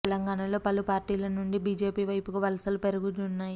తెలంగాణలో పలు పార్టీల నుండి బీజేపీ వైపుకు వలసలు పెరగనున్నాయి